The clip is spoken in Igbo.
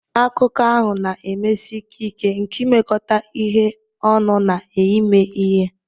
Akụkọ ahụ na-emesi ike ike nke imekọ ihe ọnụ na ime ihe.